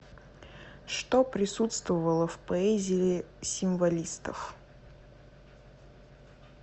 что присутствовало в поэзии символистов